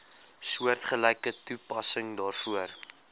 soortgelyke toepassing daarvoor